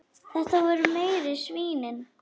Þetta voru meiri svínin.